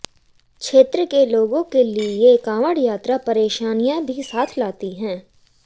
क्षेत्र के लोगों के लिए कांवडय़ात्रा परेशानियां भी साथ लाती है